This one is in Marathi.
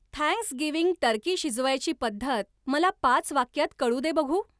थँक्सगिव्हिंग टर्की शिजवायची पद्धत मला पाच वाक्यात कळू दे बघू!